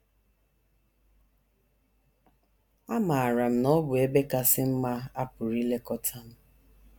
Amaara m na ọ bụ ebe kasị mma a pụrụ ilekọta m.